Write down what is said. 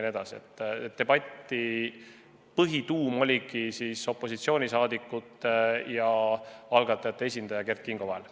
Põhiline debatt oli opositsioonisaadikute ja algatajate esindaja Kert Kingo vahel.